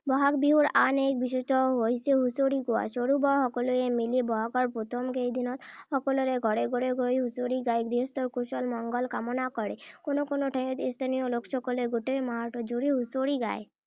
বহাগ বিহুৰ আন এক বিশেষত্ব হৈছে হুঁচৰি গোৱা। সৰু-বৰ সকলোৱে মিলি ব’হাগৰ প্ৰথম কেইদিনত সকলোৰে ঘৰে ঘৰে গৈ হুঁচৰি গাই গৃহস্থৰ কুশল-মংগল কামনা কৰে। কোনো কোনো ঠাইত স্থানীয় লোকসকলে গোটেই মাহটো জুৰি হুঁচৰি গায়।